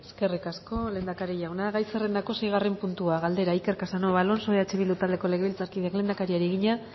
eskerrik asko lehendakari jauna gai zerrendako seigarren puntua galdera iker casanova alonso eh bildu taldeko legebiltzarkideak lehendakariari egina